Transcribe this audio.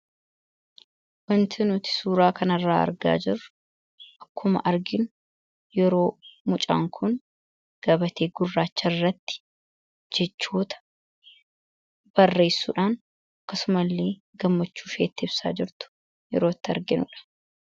Waanti nuti suura kana irraa argaa jirru, akkuma arginu, yeroo mucaan Kun gabatee gurraacha irratti jechoota barreessuudhaan akkasuma illee gammachuu ishee itti ibsaa jirtu yeroo itti arginudha.